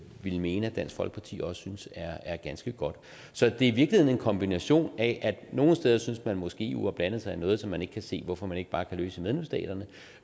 ville mene at dansk folkeparti også synes er ganske godt så det er i virkeligheden en kombination af at nogle steder synes man måske at eu har blandet sig i noget som man ikke kan se hvorfor man ikke bare kan løse i medlemsstaterne